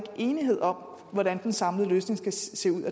enighed om hvordan den samlede løsning skal se ud